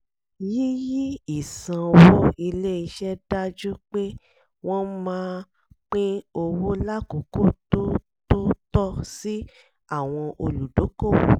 yíyí ìsanwó ilé-iṣẹ́ dájú pé wọ́n máa pín owó lákòókò tó tó tọ́ sí àwọn olùdókòwò